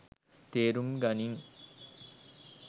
තේරුම් ගනින්.